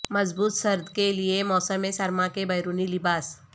مضبوط سرد کے لئے موسم سرما کے بیرونی لباس